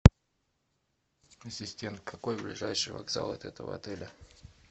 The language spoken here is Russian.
ассистент какой ближайший вокзал от этого отеля